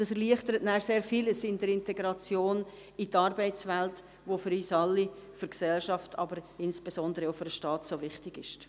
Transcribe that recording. Dies erleichtert dann sehr vieles in der Integration in die Arbeitswelt, was für uns alle, für die Gesellschaft, aber insbesondere auch für den Staat so wichtig ist.